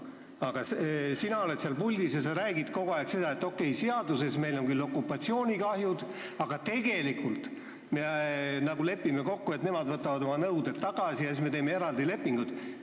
Aga sina oled seal puldis ja räägid kogu aeg seda, et okei, seaduses meil on küll jutt okupatsioonikahjudest, aga tegelikult me nagu lepime kokku, et nemad võtavad oma nõuded tagasi ja siis me teeme eraldi lepingud.